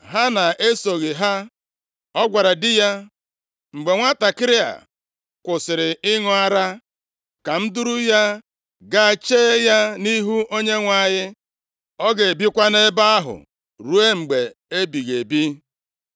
Hana esoghị ha, ọ gwara di ya, “Mgbe nwantakịrị a kwụsịrị ịṅụ ara, + 1:22 Nʼoge ochie, adịghị anapụ ụmụntakịrị ara ọsịịsọ, kama ọ bụ mgbe ha gbara afọ atọ maọbụ karịa. ka m duru ya ga chee ya nʼihu Onyenwe anyị, ọ ga-ebikwa nʼebe ahụ ruo mgbe ebighị ebi.”